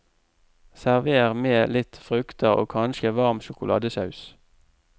Server med litt frukter og kanskje varm sjokoladesaus.